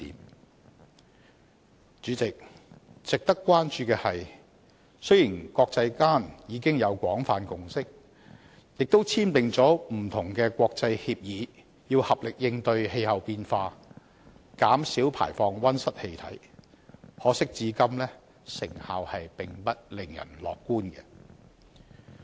代理主席，值得關注的是，雖然國際間早已有廣泛共識，亦簽訂不同的國際協議，合力應對氣候變化，減少排放溫室氣體，可惜至今成效並不令人樂觀。